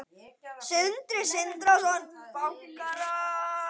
Sindri Sindrason: Bankarán?